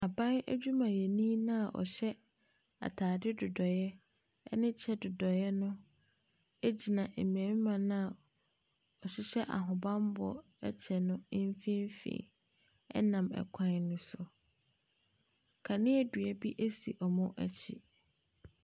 Aban adwumayɛni no a ɔhyɛ atade dodɔeɛ ne kyɛ dodɔeɛ no gyina mmarima no a wɔhyehyɛ ahobammɔ kyɛ no mfimfini, nam kwan no so. Kanea dua bi si wɔn akyi.